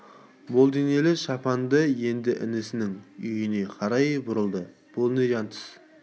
мол денелі шапаңды енді інісінің үйіне қарай бұрылды бұл не жатыс